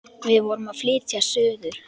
Við vorum að flytja suður.